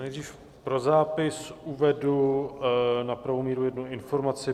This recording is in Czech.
Nejdříve pro zápis uvedu na pravou míru jednu informaci.